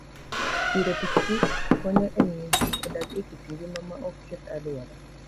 Diro pikipiki konyo e miyo ji odag e kit ngima maok keth alwora.